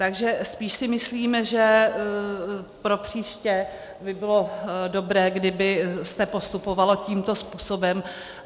Takže spíš si myslím, že pro příště by bylo dobré, kdyby se postupovalo tímto způsobem.